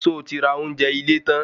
So ti ra ounjẹ ile tan?